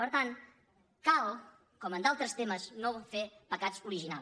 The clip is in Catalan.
per tant cal com en altres temes no fer pecats origi·nals